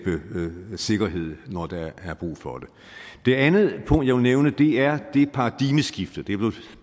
sikkerhed når der er brug for det det andet punkt jeg vil nævne er det paradigmeskifte det er